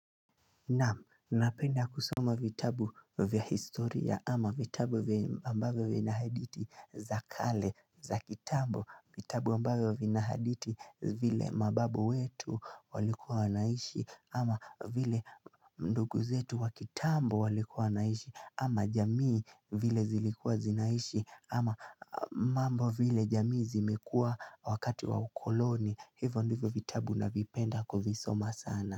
Naam, napenda kusoma vitabu vya historia ama vitabu vya ambavyo vina hadithi za kale, za kitambo, vitabu ambavyo vina hadithi vile mababu wetu walikuwa wanaishi ama vile ndugu zetu wa kitambo walikuwa wanaishi, ama jamii vile zilikuwa zinaishi ama mambo vile jamii zimekuwa wakati wa ukoloni, hivyo ndivyo vitabu navipenda kuvisoma sana.